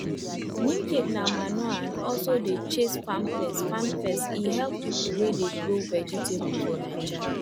neem cake na manure and also dey chase farm pests farm pests e help people wey dey grow vegetable for naija